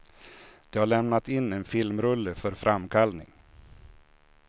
De hade lämnat in en filmrulle för framkallning.